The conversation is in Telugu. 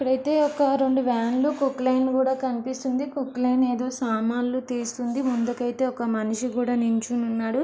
ఇక్కడైతే ఒక రెండు వ్యాన్ లు క్రొక్లయిన్ కూడా కనిపిస్తుంది క్రొక్లయిన్ ఏదొ సామానులు తీస్తుంది ముందుకు అయితే ఒక మనిషి కూడా నుంచుని ఉన్నాడు.